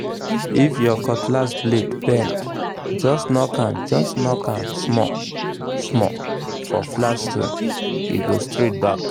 if your cutlass blade bend just knock am just knock am small-small for flat stone—e go straight back